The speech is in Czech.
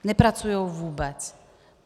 Nepracují vůbec.